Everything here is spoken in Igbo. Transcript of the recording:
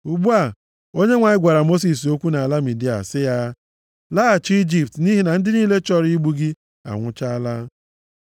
Ugbu a Onyenwe anyị gwara Mosis okwu nʼala Midia sị ya, “Laghachi Ijipt nʼihi na ndị niile chọrọ igbu gị anwụchaala.”